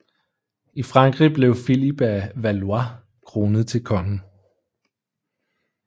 I Frankrig blev Filip af Valois kronet til konge